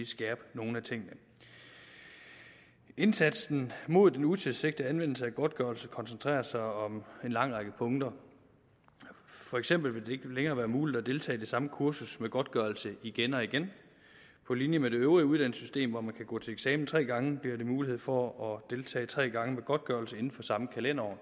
skærpe nogle af tingene indsatsen mod den utilsigtede anvendelse af godtgørelse koncentrerer sig om en lang række punkter for eksempel vil det ikke længere være muligt at deltage i det samme kursus med godtgørelse igen og igen på linje med det øvrige uddannelsessystem hvor man kan gå til eksamen tre gange bliver der mulighed for at deltage tre gange med godtgørelse inden for samme kalenderår